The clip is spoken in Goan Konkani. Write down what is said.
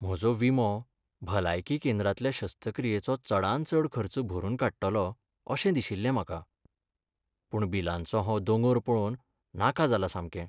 म्हजो विमो भलायकी केंद्रांतल्या शस्त्रक्रियेचो चडांत चड खर्च भरून काडटलो अशें दिशिल्लें म्हाका. पूण बिलांचो हो दोंगर पळोवन नाका जालां सामकें.